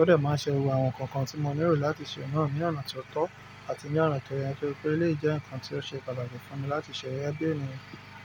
ọ̀dẹ̀ máa ń ṣe gbògbò àwọn nǹkan kan tí mo nílò láti ṣe náà ní ọ̀nà tó tọ́ àti ní ọ̀nà tó yẹ, nítorí pé elèyii jẹ́ nǹkan tí ó ṣe pàtàkì fún mi láti ṣẹ́ gẹge bí ènìyàn.